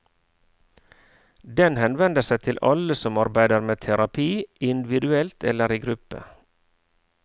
Den henvender seg til alle som arbeider med terapi, individuelt eller i gruppe.